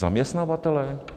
Zaměstnavatelé?